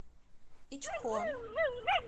ичхон